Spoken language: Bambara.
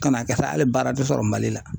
Kan'a kɛ sa hali baara tɛ sɔrɔ Mali la .